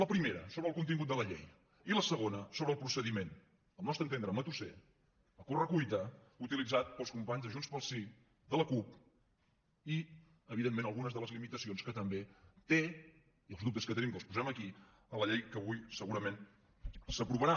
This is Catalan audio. la primera sobre el contingut de la llei i la segona sobre el procediment al nostre entendre matusser a correcuita utilitzat pels companys de junts pel sí de la cup i evidentment algunes de les limitacions que també té i els dubtes que tenim que els posem aquí sobre la llei que avui segurament s’aprovarà